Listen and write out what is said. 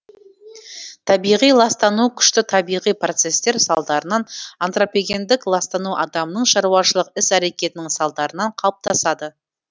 табиғи ластану күшті табиғи процестер салдарынан антропогендік ластану адамның шаруашылық іс әрекетінің салдарынан қалыптасады